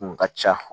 Kun ka ca